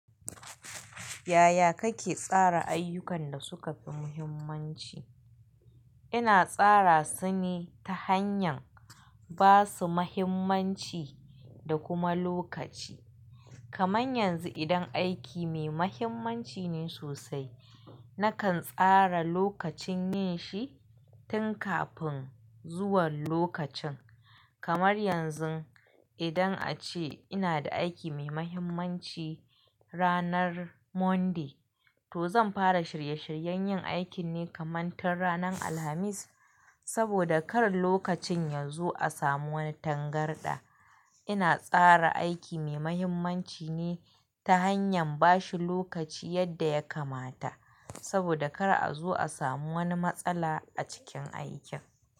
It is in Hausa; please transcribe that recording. Yaya kake tsara ayyukan da suka fi muhimmanci? Ina tsara su ne ta hanyar ba su muhimmanci da kuma lokaci. Kamar yanzu idan aiki mai muhimmanci ne sosai, nakan tsara lokacin yin shi tun kafin zuwan lokacin. Kamar yanzu idan a ce ina da aiki mai muhimmanci ranar Monday, to zan fara shirye-shiryen yin aikin ne kamar tun ranar Alhamis saboda kar lokacin ya zo a samu wani tangarɗa. Ina tsara aiki mai muhimmanci ne ta hanyar ba shi lokaci yadda ya kamata saboda kar a zo a samu wani matsala a cikin aikin.